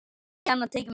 Ekki annað tekið í mál.